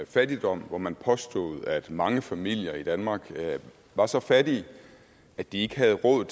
fattigdom hvor man påstod at mange familier i danmark var så fattige at de ikke havde råd